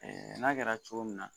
n'a kɛra cogo min na